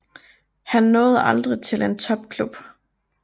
Han nåede aldrig til en topklub